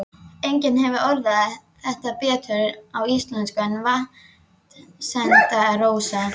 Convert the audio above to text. Enginn hefur orðað þetta betur á íslensku en Vatnsenda-Rósa